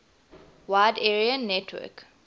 wide area network